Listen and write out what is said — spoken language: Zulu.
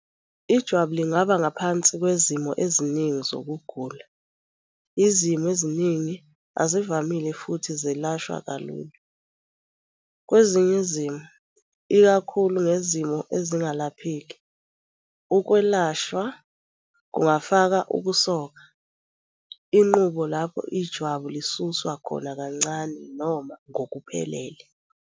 Ijwabu lingaba ngaphansi kwezimo eziningi zokugula. Izimo eziningi azivamile futhi zelashwa kalula. Kwezinye izimo, ikakhulukazi ngezimo ezingalapheki, ukwelashwa kungafaka ukusoka, inqubo lapho ijwabu lisuswa khona kancane noma ngokuphelele.